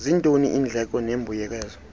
zintoni iindleko nembuyekezo